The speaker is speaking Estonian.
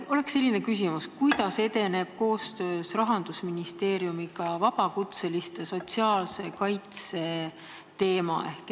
Mul on selline küsimus: kuidas edeneb koostöös Rahandusministeeriumiga vabakutseliste sotsiaalse kaitse probleemi lahendamine?